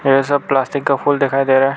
ये सब प्लास्टिक का फूल दिखाई दे रहा है।